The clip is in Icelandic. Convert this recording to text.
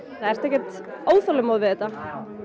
ertu ekkert óþolinmóð við þetta